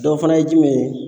o fana ye jumɛn ye ?